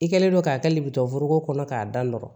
I kɛlen don k'a kɛli bitɔnforoko kɔnɔ k'a da nɔrɔ